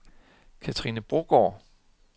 Kathrine Brogaard